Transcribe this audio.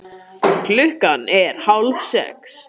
Klukkan er hálfsex.